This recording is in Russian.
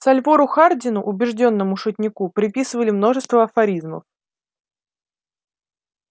сальвору хардину убеждённому шутнику приписывали множество афоризмов